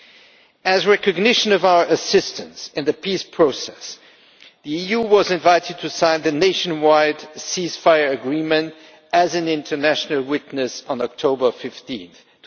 In recognition of our assistance in the peace process, the EU was invited to sign the nationwide ceasefire agreement as an international witness on 15 October